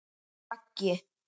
Og Raggi?